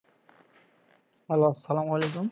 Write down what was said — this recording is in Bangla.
হ্যালো আসসালামু আলাইকুম